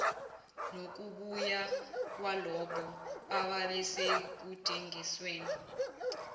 nokubuya kwalabo ababesekudingisweni